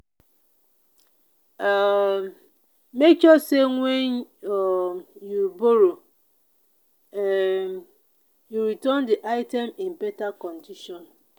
um make sure say when um you borrow um you return di item in better condition.